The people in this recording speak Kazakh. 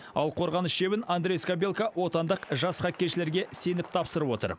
ал қорғаныс шебін андрей скабелка отандық жас хоккейшілерге сеніп тапсырып отыр